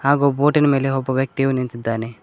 ಹಾಗು ಬೋಟಿನ ಮೇಲೆ ಒಬ್ಬ ವ್ಯಕ್ತಿಯು ನಿಂತಿದ್ದಾನೆ.